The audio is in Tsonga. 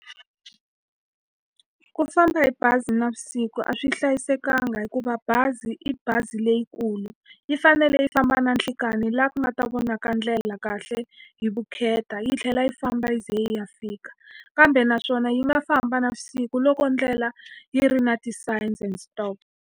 Ku famba hi bazi navusiku a swi hlayisekanga hikuva bazi i bazi leyikulu. Yi fanele yi famba na nhlikani laha ku nga ta vona ka ndlela kahle hi vukheta, yi tlhela yi famba yi ze yi ya fika. Kambe naswona yi nga famba navusiku loko ndlela yi ri na .